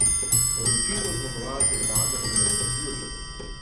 Odločitev o zmagovalcu je padla šele v zaključku.